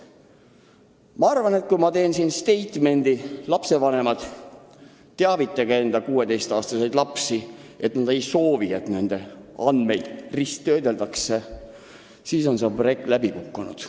Ma arvan, et kui ma teen siin statement'i, et, lapsevanemad, teavitage oma 16-aastaseid lapsi, et nad annaks teada, kui nad ei soovi, et nende andmeid risttöödeldakse, siis on see projekt läbi kukkunud.